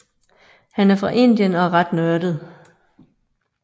Han er fra Indien og ret nørdet